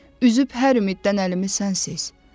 Üzüb hər ümiddən əlimi sənsiz.